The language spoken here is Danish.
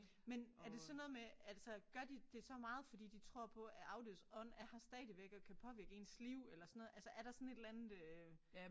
Men er det sådan noget med altså gør de det så meget fordi de tror på at afdødes ånd er her stadigvæk og kan påvirke ens liv eller sådan noget altså er der sådan et eller andet øh